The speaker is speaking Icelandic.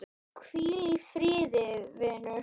Hvíl í friði, vinur.